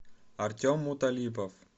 артем муталипов